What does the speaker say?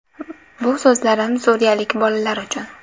Bu so‘zlarim suriyalik bolalar uchun.